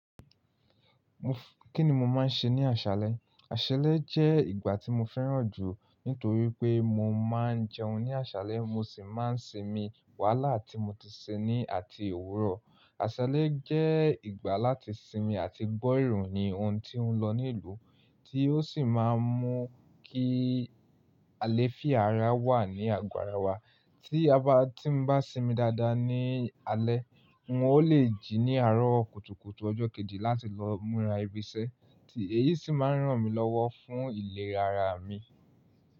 Kí ni mo máa ń ṣe ní àṣálẹ́? Àṣálẹ́ jẹ́ ìgbà tí mo fẹ́ràn jù nítorí pé mo máa ń jẹun ní àṣálẹ́, mo sì máa ń sinmi wàhálà tí mo ti ṣe ní àti èwùrọ̀. Àṣálẹ́ jẹ́ ìgbà láti sinmi àti gbọ́ ìròyìn ohun tí oń lọ ní ìlú tí ó sì máa ń mú kí àlèfì ara wà ní àgoàrá wa. Tí a bá, tí mo bá sinmi dáadáa ní alẹ́, n o le jí ní àárọ̀ kùtùkùtù ọjọ́ kejì láti lọ múra ibi iṣẹ́ tí èyí sì máa ń ràn mí lọ́wọ́ fún ìlera ara mi.